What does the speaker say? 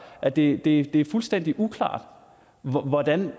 at det er fuldstændig uklart hvordan